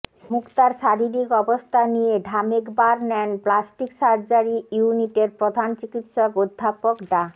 মুক্তার শারীরিক অবস্থা নিয়ে Dhamek burn and plastic surgery ইউনিটের প্রধান চিকিৎসক অধ্যাপক ডা